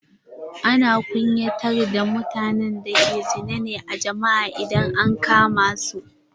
Ana kunyatar da mutanen da ke zina ne a jama'a idan an kama su.